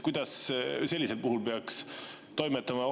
Kuidas sellisel puhul peaks toimetama?